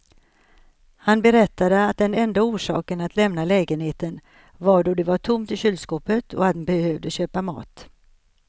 Han berättade att den enda orsaken att lämna lägenheten var då det var tomt i kylskåpet och han behövde köpa mat.